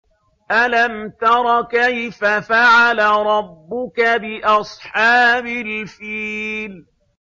أَلَمْ تَرَ كَيْفَ فَعَلَ رَبُّكَ بِأَصْحَابِ الْفِيلِ